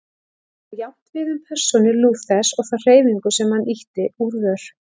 Þetta á jafnt við um persónu Lúthers og þá hreyfingu sem hann ýtti úr vör.